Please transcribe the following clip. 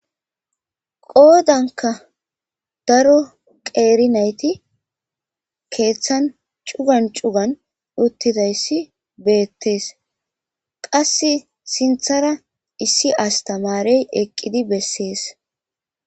Qoodanka daro qeeri nayti keeththan cugan cugan uttidayssi beettes qass sinthara issi astamarey eqqidi bessees.